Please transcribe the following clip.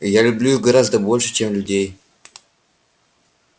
я люблю их гораздо больше чем людей